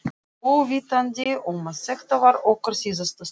Óvitandi um að þetta var okkar síðasta stund.